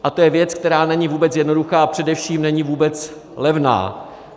A to je věc, která není vůbec jednoduchá, a především není vůbec levná.